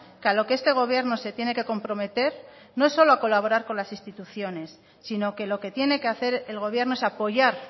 que a lo que este gobierno se tiene que comprometer no es solo a colaborar con las instituciones sino que lo que tiene que hacer el gobierno es apoyar